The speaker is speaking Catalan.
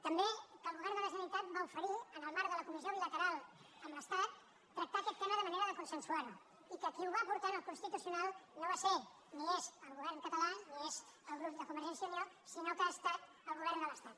també que el govern de la generalitat va oferir en el marc de la comissió bilateral amb l’estat tractar aquest tema de manera que es consensués i que qui ho va portar al constitucional no va ser ni és el govern català ni és el grup de convergència i unió sinó que ha estat el govern de l’estat